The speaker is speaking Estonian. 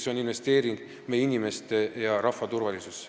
See on investeering meie inimeste ja kogu rahva turvalisusse.